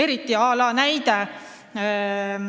Toon ühe näite.